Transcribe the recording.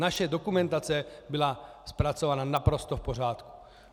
Naše dokumentace byla zpracována naprosto v pořádku.